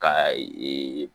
Ka ee